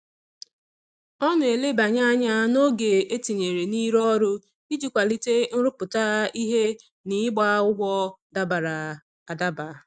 Ọ na-elebanye anya n'oge e tinyere n'ịrụ ọrụ iji kwalite nrụpụta ihe na ịgba ụgwọ dabara adaba.